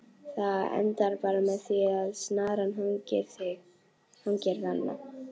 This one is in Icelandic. Það endar bara með því að snaran hangir þarna!